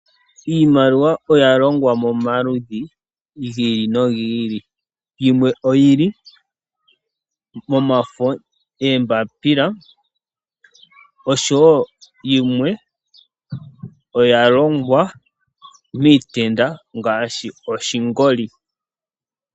Iimaliwa oya longwa momaludhi gi ili nogi ili. Yimwe oyili momafo goombapila, nosho yimwe oya longwa miitenda, ngashi oshingoli.